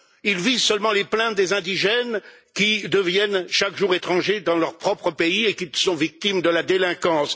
Il vise seulement les plaintes des indigènes qui deviennent chaque jour étrangers dans leur propre pays et qui sont victimes de la délinquance.